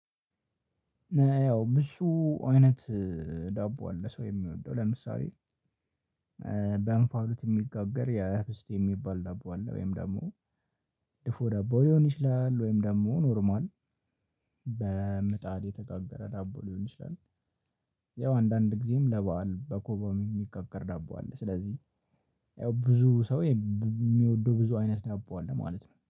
እሱ አይነት ዳቦ አለ ሰው የሚወደው ለምሳሌ ኧ በእንፋሉት እሚጋገር የህብስት የሚባል ዳቦ አለ ወይም ደሞ ድፎ ዳቦ ሊሆን ይችላል። ወይም ደሞ ኖርማል በምጣድ የተጋበረ ዳቦ ሊሆን ይችላል። ያው አንዳንድ ጊዜም ለበአል በኮባም እሚጋገር ዳቦ አለ። ስለዚህ ያው ብዙ ሰው የእሚወደው ብዙ አይነት ዳቦ አለ ማለት ነው